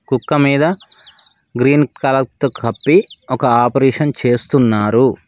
కుక్క మీద green colour తో కప్పి ఒక ఆపరేషన్ చేస్తున్నారు.